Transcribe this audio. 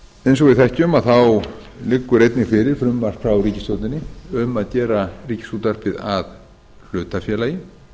við þekkjum þá liggur einnig fyrir frumvarp frá ríkisstjórninni um að gera ríkisútvarpið að hlutafélagi